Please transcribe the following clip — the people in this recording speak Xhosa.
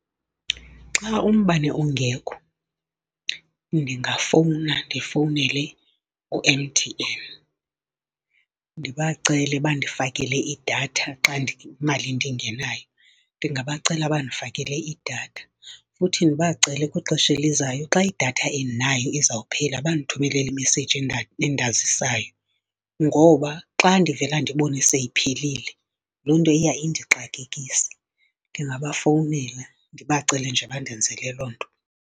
Xa umbane ungekho ndingafowuna ndifowunele u-M_T_N. Ndibacele bandifakele idatha xa imali ndingenayo. Ndingabacela bandifakele idatha futhi ndibacele kwixesha elizayo xa idatha endinayo izawuphela, bandithumelele i-message endazisayo. Ngoba xa ndivele ndibone seyiphelile loo nto iya indixakekise. Ndingabafowunela ndibacele nje bandenzele loo nto.